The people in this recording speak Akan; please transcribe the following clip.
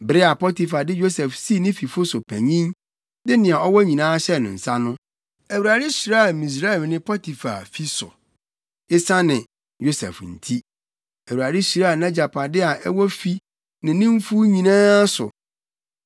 Bere a Potifar de Yosef sii ne fifo so panyin, de nea ɔwɔ nyinaa hyɛɛ ne nsa no, Awurade hyiraa Misraimni Potifar fie so, esiane Yosef nti. Awurade hyiraa nʼagyapade a ɛwɔ fi ne ne mfuw nyinaa so.